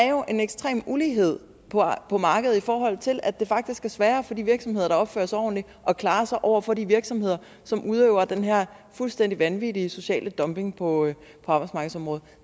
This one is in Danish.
jo en ekstrem ulighed på markedet i forhold til at det faktisk er sværere for de virksomheder der opfører sig ordentligt at klare sig over for de virksomheder som udøver den her fuldstændig vanvittige sociale dumping på arbejdsmarkedsområdet